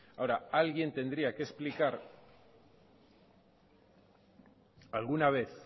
ahora alguien tendría que explicar alguna vez